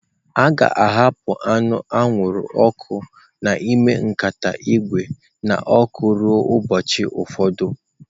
A ga-ahapụ anụ anwụrụ ọkụ n'ime nkata ígwè n'ọkụ ruo ụbọchị ụfọdụ.